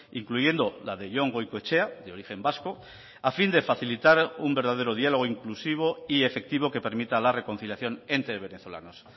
incluyendo la de jon goikoetxea de origen vasco a fin de facilitar un verdadero diálogo inclusivo y efectivo que permita la reconciliación entre venezolanos